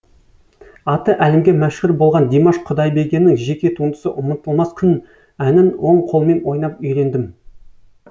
аты әлемге мәшһүр болған димаш құдайбергеннің жеке туындысы ұмытылмас күн әнін оң қолмен ойнап үйрендім